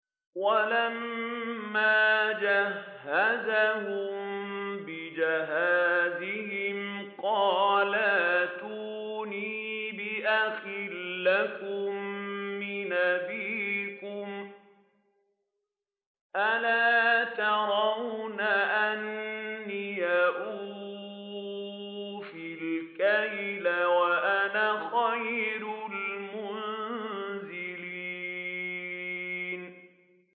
وَلَمَّا جَهَّزَهُم بِجَهَازِهِمْ قَالَ ائْتُونِي بِأَخٍ لَّكُم مِّنْ أَبِيكُمْ ۚ أَلَا تَرَوْنَ أَنِّي أُوفِي الْكَيْلَ وَأَنَا خَيْرُ الْمُنزِلِينَ